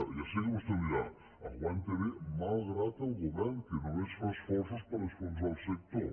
ja sé que vostè em dirà aguanta bé malgrat el govern que només fa esforços per enfonsar el sector